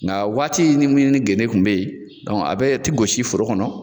Nka waati min ni genne kun bɛ ye a bɛɛ tɛ gosi foro kɔnɔ.